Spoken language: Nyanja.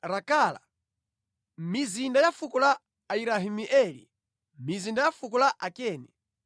Rakala, mizinda ya fuko la Ayerahimeeli, mizinda ya fuko la Akeni,